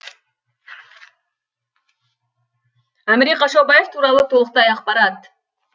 әміре қашаубаев туралы толықтай ақпарат